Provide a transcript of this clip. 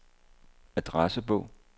adressebog